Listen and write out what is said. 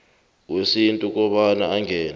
wesintu kobana angene